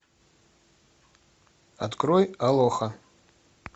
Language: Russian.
открой алоха